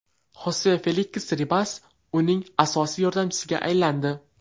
Xose Feliks Ribas uning asosiy yordamchisiga aylandi.